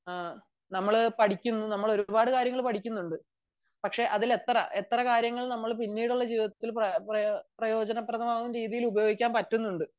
നമ്മൾ ഒരുപാട് കാര്യങ്ങൾ പഠിക്കുന്നുണ്ട് പക്ഷെ അതിൽ എത്ര കാര്യങ്ങൾ പിന്നീടുള്ള ജീവിതത്തിൽ പ്രയോജനമാവുന്ന രീതിയിൽ ഉപയോഗിക്കാൻ പറ്റുന്നുണ്ട്